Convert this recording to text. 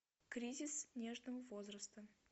кризис нежного возраста